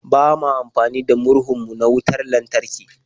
Ba ma amfani da murhun mu na wutar lantarki.